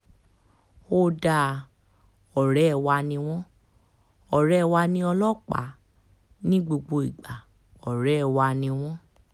ó dáa ọ̀rẹ́ wa ni wọ́n ọ̀rẹ́ wa ní ọlọ́pàá ní gbogbo ìgbà ọ̀rẹ́ ọ̀rẹ́ wa ni wọ́n